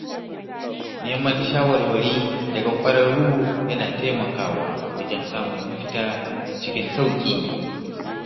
Neman shawarwari daga ƙwararru yana taimakawa wajen samun mafita cikin sauƙi.